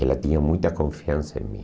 Ela tinha muita confiança em mim.